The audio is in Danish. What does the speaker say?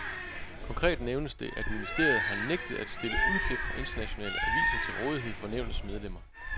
Konkret nævnes det, at ministeriet har nægtet at stille udklip fra internationale aviser til rådighed for nævnets medlemmer.